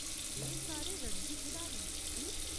एह्‌‌ सारे रणजी खढारी न, ठीक ?